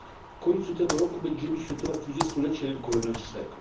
W końcu tego roku będziemy świętować 20 lecie rynku wewnętrznego.